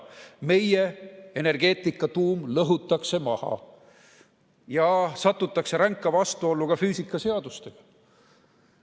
Meie energeetika tuum lõhutakse maha ja satutakse ränka vastuollu ka füüsikaseadustega.